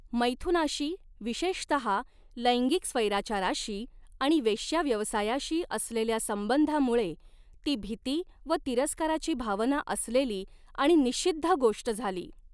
मैथुनाशी, विशेषतहा लैंगिक स्वैराचाराशी आणि वेश्याव्यवसायाशी असलेल्या संबंधामुळे, ती भीती व तिरस्काराची भावना असलेली आणि निषिद्ध गोष्ट झाली.